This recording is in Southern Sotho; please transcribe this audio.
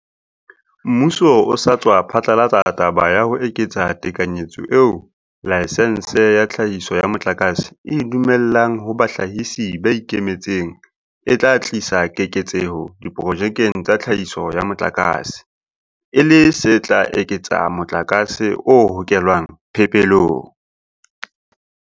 Mmuso o sa tswa phatlalatsa taba ya ho eketsa tekanyetso eo laesense ya tlhahiso ya motlakase e e dumellang ho bahlahisi ba ikemetseng e tla tlisa keketseho diprojekeng tsa tlhahiso ya motlakase, e le se tla eketsa motlakase o hokelwang phepelong.